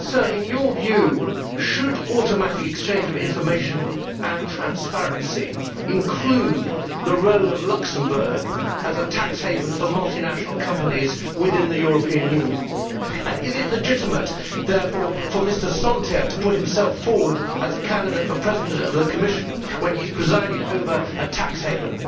In your view, should automatic exchange of information and transparency include the role of Luxembourg as a tax haven for multinational companies within the European Union, and is it legitimate therefore for Mr Santer to put himself forward as a candidate for President of the Commission when he has presided over a tax haven?